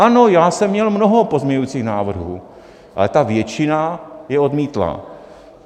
Ano, já jsem měl mnoho pozměňovacích návrhů, ale ta většina je odmítla.